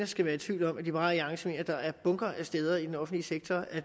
skal være i tvivl om at liberal alliance mener at der er bunker af steder i den offentlige sektor